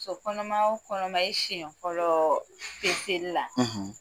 Musokɔnɔma o kɔnɔma i siyɛn fɔlɔ la